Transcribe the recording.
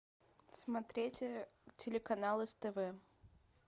смотреть телеканал ств